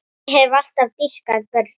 Ég hef alltaf dýrkað börn.